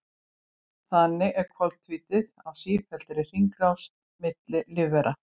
Þannig er koltvíildið á sífelldri hringrás milli lífvera.